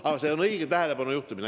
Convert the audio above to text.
Ent see oli õige tähelepanu juhtimine.